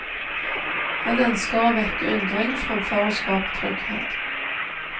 Han ønsker å vekke undring fremfor å skape trygghet.